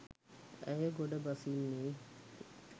ඇය ගොඩ බසින්නේ